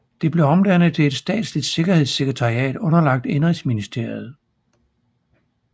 Det blev omdannet til et statsligt sikkerhedssekretariat underlagt indenrigsministeriet